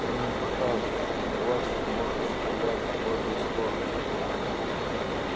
мы им покажем что бластер может стрелять в обе стороны